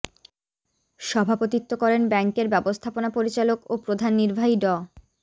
সভাপতিত্ব করেন ব্যাংকের ব্যবস্থাপনা পরিচালক ও প্রধান নির্বাহী ড